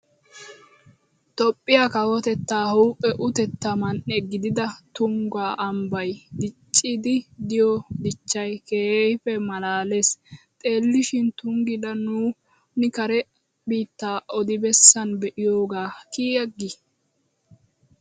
Toophphiya kawotettaa huuphphe utetta man'e gidida tungga ambbay diicciid diyo dichchay keehiippe maalaalees. Xeelishin tunggi la nuuni kare biittaa odi bessan be'iyoogaa kiy agii!!